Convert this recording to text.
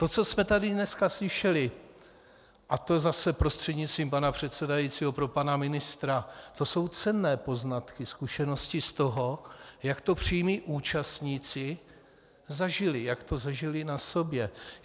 To, co jsme tady dneska slyšeli, a to zase prostřednictvím pana předsedajícího pro pana ministra, to jsou cenné poznatky, zkušenosti z toho, jak to přímí účastníci zažili, jak to zažili na sobě.